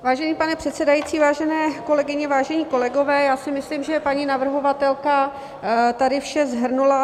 Vážený pane předsedající, vážené kolegyně, vážení kolegové, já si myslím, že paní navrhovatelka tady vše shrnula.